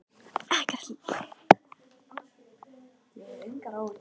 Ekkert lítið sem er búið að skemma!